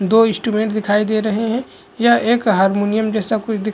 दो इंस्ट्रूमेंट दिखाई दे रहा है या एक हारमोनियम जैसा कुछ दिखाई--